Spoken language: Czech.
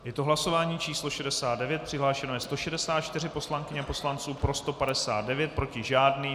Je to hlasování číslo 69, přihlášeno je 164 poslankyň a poslanců, pro 159, proti žádný.